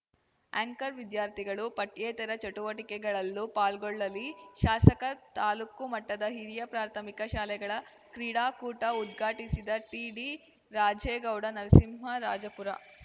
anchor ವಿದ್ಯಾರ್ಥಿಗಳು ಪಠ್ಯೇತರ ಚಟುವಟಿಕೆಗಳಲ್ಲೂ ಪಾಲ್ಗೊಳ್ಳಲಿ ಶಾಸಕ ತಾಲೂಕು ಮಟ್ಟದ ಹಿರಿಯ ಪ್ರಾಥಮಿಕ ಶಾಲೆಗಳ ಕ್ರೀಡಾಕೂಟ ಉದ್ಘಾಟಿಸಿದ ಟಿಡಿರಾಜೇಗೌಡ ನರಸಿಂಹರಾಜಪುರ